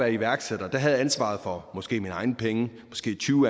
iværksætter havde jeg ansvaret for måske mine egne penge måske tyve